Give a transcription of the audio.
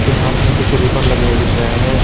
इसके हाथ में कुछ रिबन लगे हुए दिख रहे हैं।